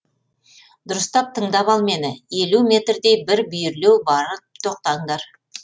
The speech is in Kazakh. дұрыстап тыңдап ал мені елу мертдей бір бүйірлеу барып тоқтаңдар